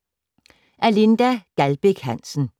Af Linda Gjaldbæk Hansen